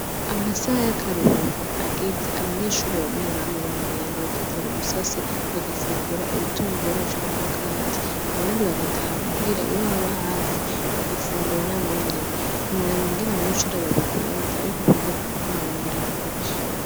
Amasaha y'akaruhuko ageze bamwe bamwe baragenda bakivuna umusase bagafungura ibitumbura canke umukate , abandi bagataha muhira iyo haba hafi bagafungura nabo nyene, ntiworaba ingene abanyeshure babikunda ariko kwiga ku mugoroba biraruhisha.